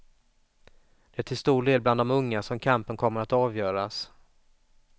Det är till stor del bland de unga som kampen kommer att avgöras.